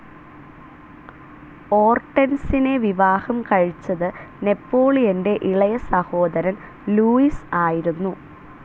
ഓർട്ടെൻസിനെ വിവാഹം കഴിച്ചത് നെപോളിയന്റെ ഇളയസഹോദരൻ ലൂയിസ് ആയിരുന്നു.